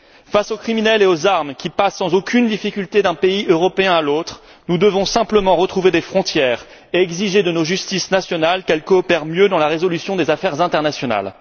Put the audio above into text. Face aux criminels et aux armes qui passent sans aucune difficulté d'un pays européen à l'autre, nous devons simplement retrouver des frontières et exiger de nos justices nationales qu'elles coopèrent mieux dans la résolution des affaires internationales.